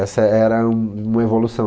Essa era um uma evolução.